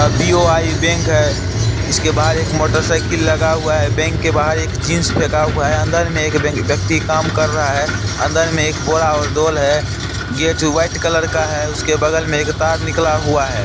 BOI bank है इसके बाहर एक मोटरसाइकिल लगा हुआ है बैंक के बाहर एक जींस फेका हुआ है अंदर में एक व्यक्ति काम कर रहा है अंदर में एक बोरा और दोल है गेट व्हाइट कलर का है उसके बगल में एक तार निकला हुआ है।